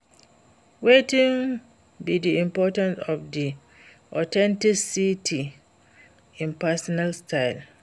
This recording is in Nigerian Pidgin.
Wetin be di importance of di authenticity in personal style?